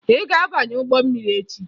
Ị ga-abanye ụgbọ mmiri echi!